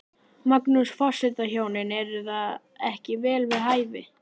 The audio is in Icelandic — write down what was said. Magnús: Forsetahjónin, er það ekki vel við hæfi?